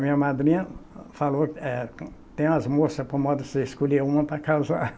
Minha madrinha falou, eh, tem umas moças para você escolher uma para casar.